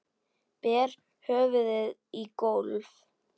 Ber höfðinu í gólfið.